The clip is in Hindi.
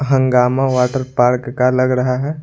हंगामा वाटर पार्क का लग रहा है।